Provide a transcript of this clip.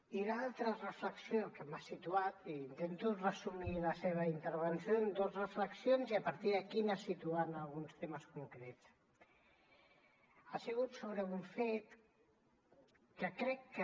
i l’altra reflexió que m’ha situat i intento resumir la seva intervenció en dos reflexions i a partir d’aquí anar situant alguns temes concrets ha sigut sobre un fet que crec que